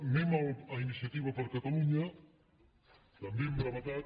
anem a iniciativa per catalunya també amb brevetat